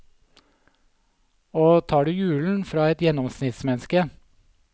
Og tar du julen fra et gjennomsnittsmenneske.